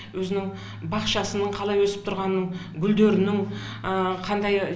өзінің бақшасының қалай өсіп тұрғанын гүлдерінің қандай